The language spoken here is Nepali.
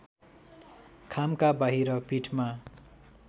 खामका बाहिर पीठमा